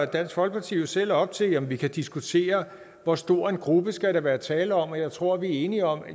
dansk folkeparti jo selv op til at vi kan diskutere hvor stor en gruppe der skal være tale om og jeg tror vi er enige om